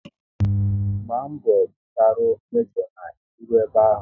Gba mgbọ gbucharu mejo na ị ruo ebe ahụ!